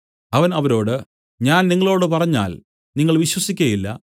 അവൻ അവരോട് ഞാൻ നിങ്ങളോടു പറഞ്ഞാൽ നിങ്ങൾ വിശ്വസിക്കയില്ല